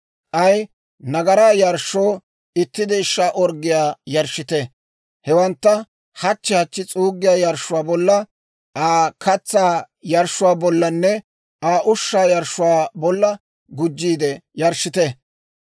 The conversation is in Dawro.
K'ay nagaraa yarshshoo itti deeshshaa orggiyaa yarshshite. Hewantta hachchi hachchi s'uuggiyaa yarshshuwaa bolla, Aa katsaa yarshshuwaa bollanne Aa ushshaa yarshshuwaa bolla gujjiide yarshshite.